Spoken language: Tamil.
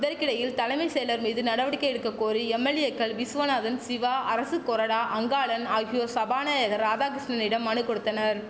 இதற்கிடையில் தலைமை செயலர் மீது நடவடிக்கை எடுக்க கோரி எம்எல்ஏக்கள் விசுவநாதன் சிவா அரசு கொறடா அங்காளன் ஆகியோர் சபாநாயகர் ராதாகிருஷ்ணனிடம் மனு கொடுத்தனர்